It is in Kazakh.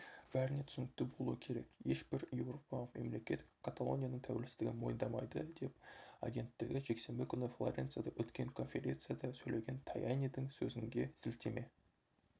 бәріне түсінікті болуы керек ешбір еуропалық мемлекет каталонияның тәуелсіздігін мойындамайды деп агенттігі жексенбі күні флоренцияда өткен конференцияда сөйлеген таянидің сөзінге сілтеме